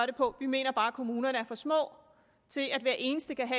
det på vi mener bare at kommunerne er for små til at hver eneste kan